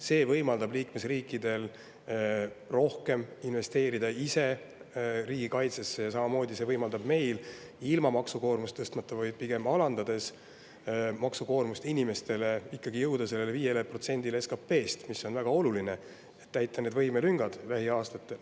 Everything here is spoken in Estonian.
See võimaldab liikmesriikidel ise rohkem riigikaitsesse investeerida ja samamoodi võimaldab see meil ilma maksukoormust tõstmata, vaid pigem inimeste maksukoormust alandades, ikkagi jõuda selle 5%‑ni SKP-st, mis on väga oluline, et lähiaastatel need võimelüngad täita.